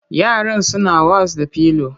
Yaran suna was da pillow